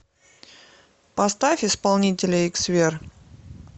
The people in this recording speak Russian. поставь исполнителя иксвер